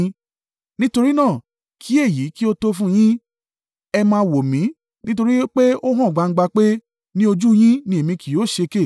“Nítorí náà, kí èyí kí ó tó fún yín. Ẹ má wò mi! Nítorí pé ó hàn gbangba pé, ní ojú yín ni èmi kì yóò ṣèké.